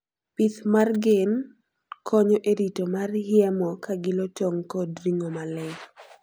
pith mar gen konyo e ritoo mar hiemo kagilo tong kod ringo maler